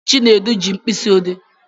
Chinedu ji mkpịsị odee